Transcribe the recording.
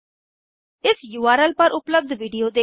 इस उर्ल पर उपलब्ध विडिओ देखें